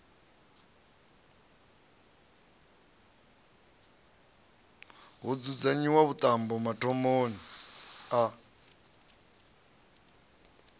ho dzudzanyiwa vhuṱambo mathomoni a